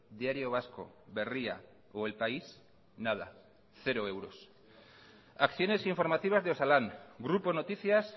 diario vasco berria o el país nada cero euros acciones informativas de osalan grupo noticias